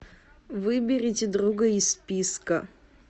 выберите друга из списка